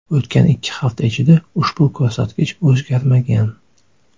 O‘tgan ikki hafta ichida ushbu ko‘rsatkich o‘zgarmagan.